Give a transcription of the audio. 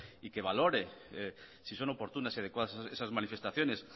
y que valore si son oportunas y adecuadas esas manifestaciones